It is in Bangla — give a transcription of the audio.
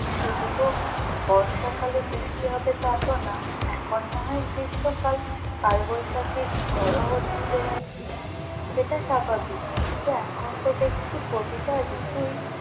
শুধু তো বর্ষকালে বৃষ্টি হবে তা তো না এখন না হয় গ্রীষ্মকাল কালবৈশাখীর ঝড়ও হচ্ছে সেটা স্বাভাবিক কিন্তু এখন তো দেখছি প্রতিটা ঋতুই।